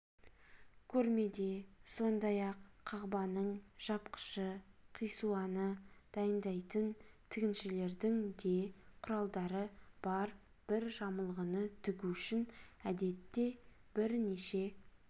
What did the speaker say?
көрмеде сондайақ қағбаның жапқышы қисуаны дайындайтын тігіншілердің де құралдары бар бір жамылғыны тігу үшін әдетте бірнеше